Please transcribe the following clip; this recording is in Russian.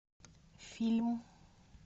фильм